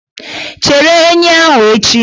Chere enyi ahụ echi!